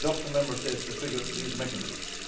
It is up to Member States to trigger these mechanisms.